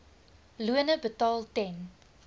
lone betaal ten